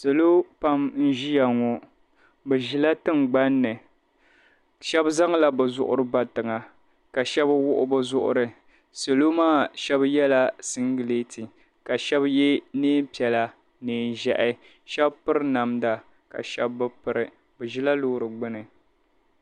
Salo pam n-ʒia ŋɔ. Bɛ ʒila tiŋgbani ni. Shɛba zaŋla bɛ zuɣiri ba tiŋa ka shɛba wuɣi bɛ zuɣiri. Salo maa shɛba yɛla siŋgileeti ka shɛba ye neem' piɛla neen ʒiɛhi. Shɛba piri namda ka shɛba bi piri bɛ ʒila loori gbini.